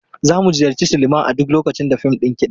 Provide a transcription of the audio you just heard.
Za mu ziyarci silima a duk lokacin da fim ɗin kiɗa ne.